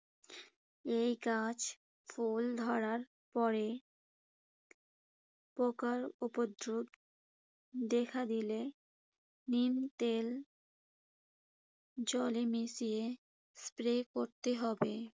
এই গাছ ফুল ধরার পরে পোকার উপদ্রব দেখা দিলে নিম তেল জলে মিশিয়ে স্প্রে করতে করতে হবে।